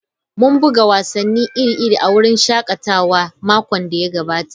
Mun buga wasanni iri-iri a wurin shakatawa a makon da ya gabata.